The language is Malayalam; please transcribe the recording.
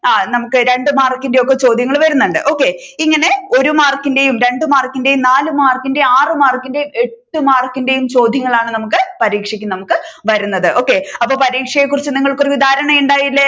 ആ നമ്മുക്ക് രണ്ടു മാർക്കിന്റെ ഒക്കെ ചോദ്യങ്ങൾ വരുന്നുണ്ട് ഇങ്ങനെ ഒരു മാർക്കിന്റെയും രണ്ടു മാർക്കിന്റെയും നാല് മാർക്കിന്റെയും ആറു മാർക്കിന്റെയും എട്ടു മാർക്കിന്റെയും ചോദ്യങ്ങളാണ് നമ്മുക്ക് പരീക്ഷക്ക് നമ്മുക്ക് വരുന്നത് ഒക്കെ അപ്പൊ പരീക്ഷയെ കുറിച്ച് നിങ്ങൾക്ക് ഒരു ധാരണ ഇണ്ടായില്ലേ